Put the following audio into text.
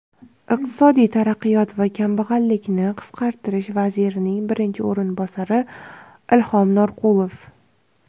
iqtisodiy taraqqiyot va kambag‘allikni qisqartirish vazirining birinchi o‘rinbosari Ilhom Norqulov,.